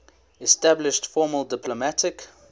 established formal diplomatic